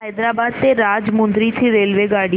हैदराबाद ते राजमुंद्री ची रेल्वेगाडी